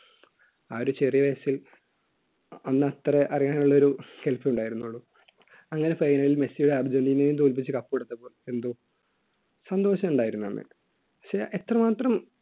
ആ ഒരുചെറിയ വയസ്സിൽ അന്ന് അത്ര അറിയാൻ ഉള്ള ഒരു അങ്ങനെ final ൽ മെസ്സിയുടെ അർജൻറീനയെയും തോൽപ്പിച്ച് cup എടുത്തപ്പോൾ എന്തോ സന്തോഷം ഉണ്ടായിരുന്നു എന്ന് പക്ഷേ എത്രമാത്രം